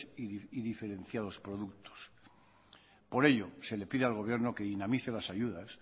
y diferenciados productos por ello se le pide al gobierno que dinamice las ayudas